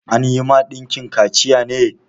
An yi ma ɗanki kaciya ne?